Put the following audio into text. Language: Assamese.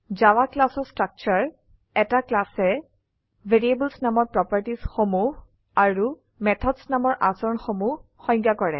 জাভা ক্লাছ এৰ স্ট্ৰাকচাৰ160 এটা classএ ভেৰিয়েবলছ নামৰ প্ৰোপাৰটিচ সমূহ আৰু মেথডছ নামৰ আচৰন সমূহ সংজ্ঞা কৰে